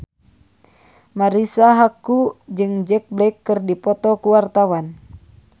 Marisa Haque jeung Jack Black keur dipoto ku wartawan